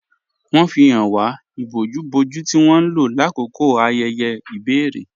Wọn fi háń wà íbòjú-bòjú tí wọn lọ lákọkọ ayéyé ibèrè.